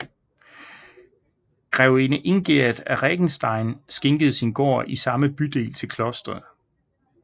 Grevinde Ingerd af Regenstein skænkede sin gård i samme bydel til klosteret